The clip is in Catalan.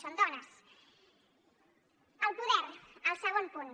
són dones el poder el segon punt